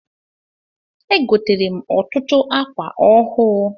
E gotere m ọtụtụ akwa ọhụụ.